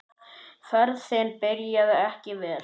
Ferðin byrjaði ekki vel.